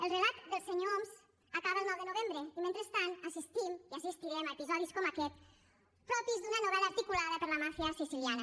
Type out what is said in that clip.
el relat del senyor homs acaba el nou de novembre i mentrestant assistim i assistirem a episodis com aquest propis d’una novel·la articulada per la màfia siciliana